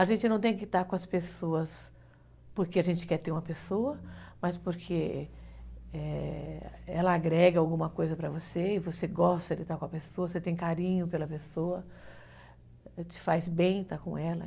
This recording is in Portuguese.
A gente não tem que estar com as pessoas porque a gente quer ter uma pessoa, mas porque ela agrega alguma coisa para você e você gosta de estar com a pessoa, você tem carinho pela pessoa, te faz bem estar com ela.